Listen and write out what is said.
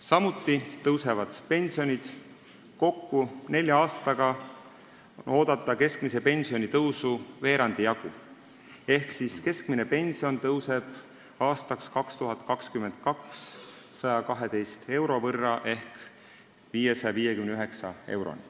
Samuti tõusevad pensionid, kokku on nelja aastaga oodata keskmise pensioni tõusu veerandi jagu, keskmine pension tõuseb 2022. aastaks 112 euro võrra ehk 559 euroni.